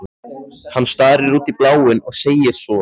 Hann starir út í bláinn og segir svo